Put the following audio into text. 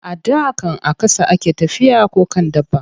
A da can a ƙasa a ke tafiya ko kan dabba.